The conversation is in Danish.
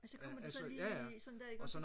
og så kommer de så lige sådan der